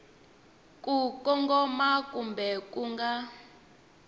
ku kongoma kumbe ku nga